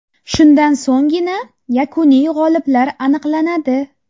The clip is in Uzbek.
Shundan so‘nggina yakuniy g‘oliblar aniqlanadi.